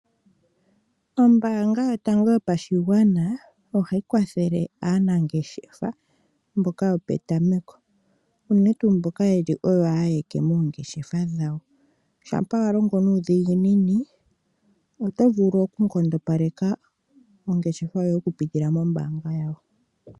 Ombaanga yotango yopashigwana ohayi kwathele aanangeshefa mboka yopetameko unene tuu mboka nenge yeli oyo alike moongeshefa ,shampa walongo nuudhiginini otovulu oku nkondopeka ongeshefa yoye oku pitila mombaanga .